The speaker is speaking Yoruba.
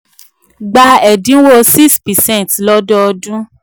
gba ẹ̀dinwó 6 percent lododun